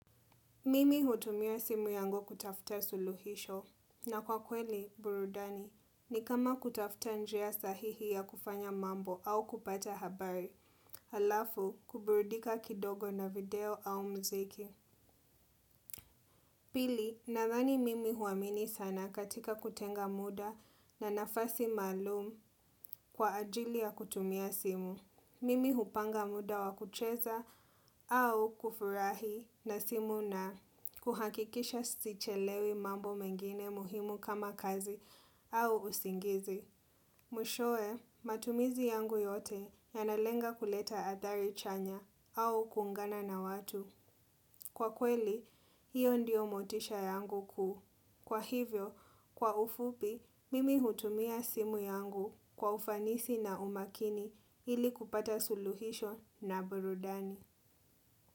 Mimi hutumia simu yangu kutafuta suluhisho na kwa kweli burudani ni kama kutafuta njia sahihi ya kufanya mambo au kupata habari halafu kuburidika kidogo na video au muziki. Pili, nadhani mimi huamini sana katika kutenga muda na nafasi maalum kwa ajili ya kutumia simu. Mimi hupanga muda wa kucheza au kufurahi na simu na kuhakikisha sichelewi mambo mengine muhimu kama kazi au usingizi. Mwishowe, matumizi yangu yote yanalenga kuleta athari chanya au kuungana na watu. Kwa kweli, hiyo ndiyo motisha yangu kuu. Kwa hivyo, kwa ufupi, mimi hutumia simu yangu kwa ufanisi na umakini ili kupata suluhisho na burudani.